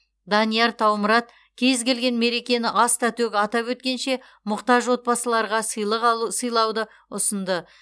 данияр таумұрат кез келген мерекені аста төк атап өткенше мұқтаж отбасыларға сыйлық алу сыйлауды ұсынды